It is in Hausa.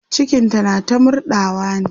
cikinta na ta murɗawa ne